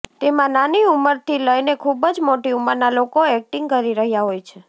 તેમાં નાની ઉમરથી લઈને ખુબ જ મોટી ઉમરના લોકો એક્ટિંગ કરી રહ્યા હોય છે